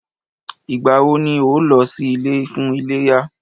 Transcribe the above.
Ìgbà wọ ni o lọ sí ilé fún iléyá?